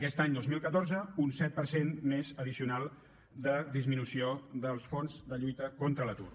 aquest any dos mil catorze un set per cent més addicional de disminució dels fons de lluita contra l’atur